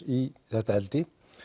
í þetta eldi